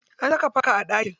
An saka fanka a ɗaki.